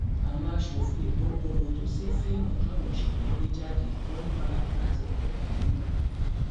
àwọn aṣòfin èkó kọrọ ojú sí fíìmù táwọn òṣèré ń gbé jáde wọn ní pálapàla ti pọ jù nínú ẹ